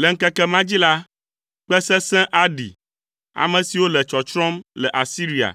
Le ŋkeke ma dzi la, kpẽ sesẽ aɖi. Ame siwo le tsɔtsrɔ̃m le Asiria